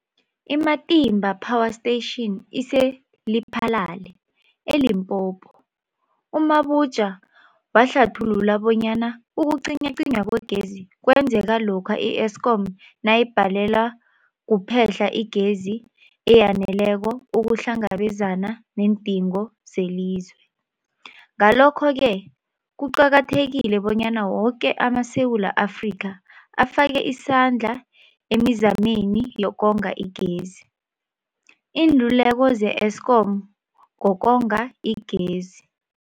I-Matimba Power Station ise-Lephalale, eLimpopo. U-Mabotja wahlathulula bonyana ukucinywacinywa kwegezi kwenzeka lokha i-Eskom nayibhalelwa kuphe-hla igezi eyaneleko ukuhlangabezana neendingo zelizwe. Ngalokho-ke kuqakathekile bonyana woke amaSewula Afrika afake isandla emizameni yokonga igezi. Iinluleko ze-Eskom ngokonga igezi.